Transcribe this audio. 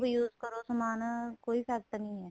use ਕਰੋ ਸਮਾਨ ਕੋਈ effect ਨਹੀਂ ਏ